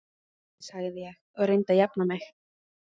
sagði ég og reyndi að jafna mig.